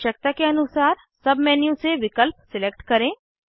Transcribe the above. आवश्यकता के अनुसार सब मेन्यू से विकल्प सिलेक्ट करें